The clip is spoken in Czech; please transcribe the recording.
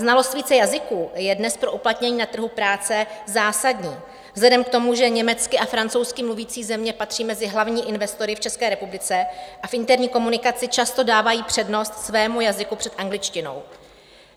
Znalost více jazyků je dnes pro uplatnění na trhu práce zásadní vzhledem k tomu, že německy a francouzsky mluvící země patří mezi hlavní investory v České republice a v interní komunikaci často dávají přednost svému jazyku před angličtinou.